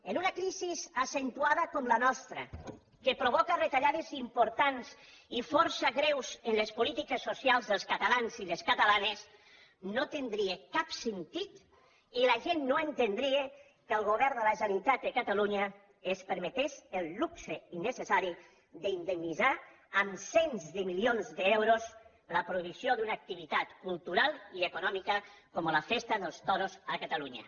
en una crisi accentuada com la nostra que provoca retallades importants i força greus en les polítiques socials dels catalans i les catalanes no tindria cap sentit i la gent no entendria que el govern de la generalitat de catalunya es permetés el luxe innecessari d’indemnitzar amb cents de milions d’euros la prohibició d’una activitat cultural i econòmica com la festa dels toros a catalunya